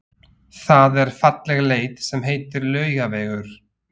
Það er falleg leið sem heitir Laugavegur.